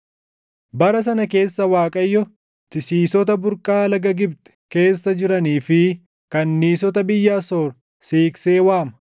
Bara sana keessa Waaqayyo tisiisota burqaa laga Gibxi keessa jiranii fi kanniisota biyya Asoor siiqsee waama.